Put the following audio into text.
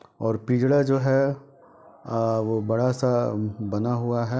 और पिजड़ा जो है अ- वो बड़ा सा बना हुआ है।